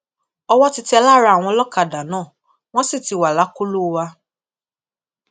owó ti tẹ lára àwọn ọlọkadà náà wọn sì ti wà lákọlò wa